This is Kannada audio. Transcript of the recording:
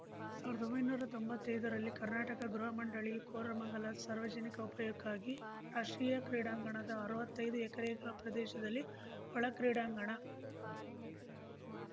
ಸಾವ್ರ್ದೊಂಬೈನೂರಾ ತೊಂಬತ್ತಯ್ದರಲ್ಲಿ ಕರ್ನಾಟಕ ಗೃಹ ಮಂಡಳಿಯು ಕೋರಮಂಗಲ ಸಾರ್ವಜನಿಕರ ಉಪಯೋಗಕ್ಕಾಗಿ ರಾಷ್ಟ್ರೀಯ ಕ್ರೀಡಾಂಗಣದ ಅರ್ವತ್ತೈದು ಎಕರೆ ಪ್ರದೇಶದಲ್ಲಿ ಒಳಾ ಕ್ರೀಡಾಂಗಣ